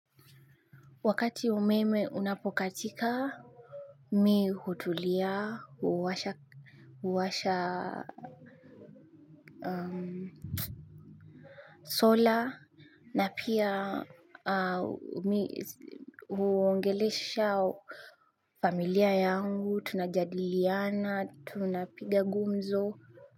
Wakati umeme unapokatika, mimi hutulia, huwasha sola, na pia huongelesha familia yangu, tunajadiliana, tunapiga gumzo.